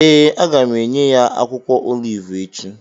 Ee, a ga m enye ya akwụkwọ olivu echi